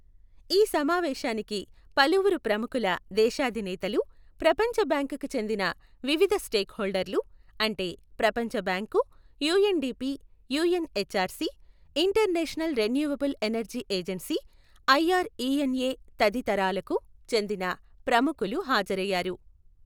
ఈ సమావేశానికి పలువురు ప్రముఖుల, దేశాధినేతలు, ప్రపంచ బ్యాంకుకు చెందిన వివిధ స్టేక్హొల్డర్లు, అంటే ప్రపంచబ్యాంకు, UNDP, UNHCR, International Renewable Energy Agency I R E N తదితరాలకు చెందిన ప్రముఖులు హాజరయ్యారు.